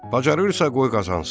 Bacarırsa qoy qazansın.